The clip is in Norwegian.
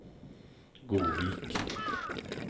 Godvik